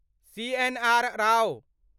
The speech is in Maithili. सीएनआर राव